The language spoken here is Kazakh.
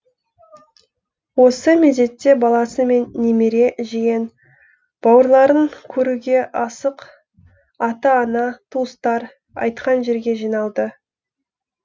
осы мезетте баласы мен немере жиен бауырларын көруге асық ата ана туыстар айтқан жерге жиналды